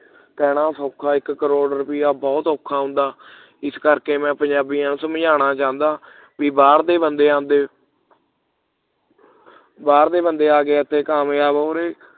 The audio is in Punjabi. ਕਹਿਣਾ ਸੌਖਾ ਇਕ ਕਰੋੜ ਰੁਪਈਆ ਬਹੁਤ ਔਖਾ ਹੁੰਦਾ ਇਸ ਕਰਕੇ ਮੈਂ ਪੰਜਾਬੀਆਂ ਨੂੰ ਸਮਝਾਉਣਾ ਚਾਹੁੰਦਾ ਬਈ ਬਾਹਰ ਦੇ ਬੰਦੇ ਆਉਂਦੇ ਬਾਹਰ ਦੇ ਬੰਦੇ ਇਥੇ ਆ ਕੇ ਕਾਮਯਾਬ ਹੋ ਰਹੇ